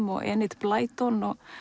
og Enid Blyton og